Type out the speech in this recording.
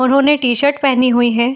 उन्होंने टी-शर्ट पहिनी हुई है।